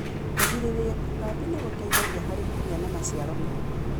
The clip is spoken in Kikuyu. Kũgirĩrĩria tutambi nĩgũteithagia harĩ kũgĩa na maciaro mega.